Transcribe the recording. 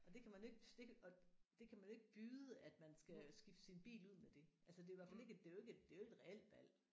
Og det kan man jo ikke det og det kan man jo ikke byde at man skal skifte sin bil ud med det altså det er i hvert fald ikke det er jo ikke et det er jo ikke et reelt valg